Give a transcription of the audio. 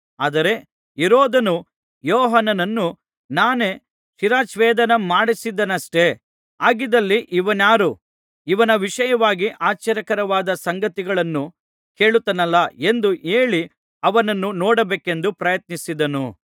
ಆದರೆ ಹೆರೋದನು ಯೋಹಾನನನ್ನು ನಾನೇ ಶಿರಚ್ಛೇದನಮಾಡಿಸಿದೆನಷ್ಟೆ ಹಾಗಿದ್ದಲಿ ಇವನಾರು ಇವನ ವಿಷಯವಾಗಿ ಆಶ್ಚರ್ಯಕರವಾದ ಸಂಗತಿಗಳನ್ನು ಕೇಳುತ್ತೇನಲ್ಲಾ ಎಂದು ಹೇಳಿ ಅವನನ್ನು ನೋಡಬೇಕೆಂದು ಪ್ರಯತ್ನಿಸಿದನು